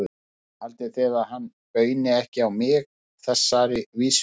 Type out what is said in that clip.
Já, haldið þið að hann bauni ekki á mig þessari vísu?